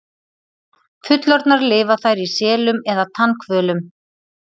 Fullorðnar lifa þær í selum eða tannhvölum.